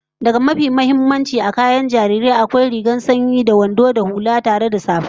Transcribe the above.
Daga mafi muhimmanci a kayan jariri, akwai rigar sanyi da wandon ta da hula da safa